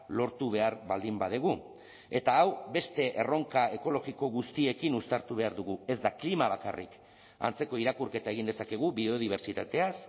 lortu behar baldin badugu eta hau beste erronka ekologiko guztiekin uztartu behar dugu ez da klima bakarrik antzeko irakurketa egin dezakegu biodibertsitateaz